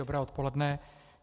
Dobré odpoledne.